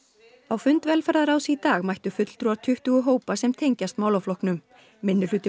á fund velferðarráðs í dag mættu fulltrúar tuttugu hópa sem tengjast málaflokknum